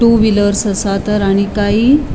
to wheelers असा तर आणि कायी --